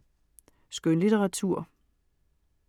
Skønlitteratur